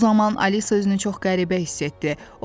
Bu zaman Alisa özünü çox qəribə hiss etdi.